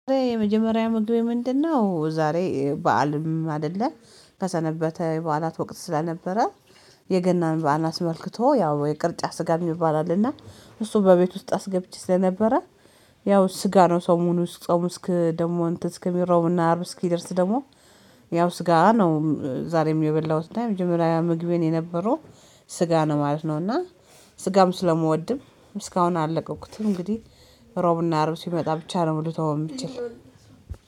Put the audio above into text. የመጀመሪያ ምግብ ምንድነው? ዛሬ በዓልም አይደለም ከሰነበተ በዓላት ወቅት ስለነበረ። የገናን በዓል አስመልክቶ ያው የቅርጫ ስጋ ይባላልና እሱ በቤት ውስጥ አስገብቼ ስለነበረ። ያው ስጋ ነው ሰሙኑን ጾሙ እስክ ዕራብ ና አርብ እስክደርስ ደሞ ያው ስጋ ነው። ዛሬም የበላሁት እና የመጀመሪያ ምግቤን የነበሩ ስጋ ነው ማለት ነው። እና ስጋም ስለምወድም እስካሁን አለቀኩትም እንግዲህ ሮብና አርብ ሲመጣ ብቻ ነው ልተው የምችለው